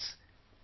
Friends,